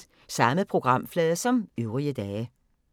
Samme programflade som øvrige dage